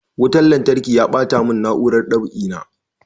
Wutan lantarki ya ɓata mun na'urar dab'i na